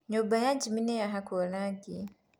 nyũmba ya jimmy nĩyahakũo rangi.